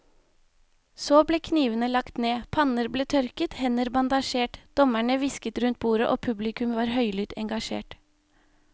Så ble knivene lagt ned, panner ble tørket, hender bandasjert, dommerne hvisket rundt bordet og publikum var høylytt engasjert.